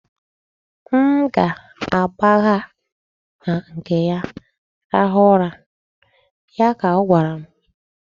M ga-agbaga na nke ya rahụ ụra', ya ka ọ gwara m.